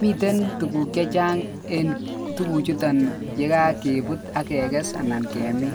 miten tuguk chechang en tuguk chuton yekakebut AK kekes anan kemin